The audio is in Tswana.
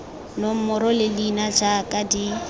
nomoro le leina jaaka di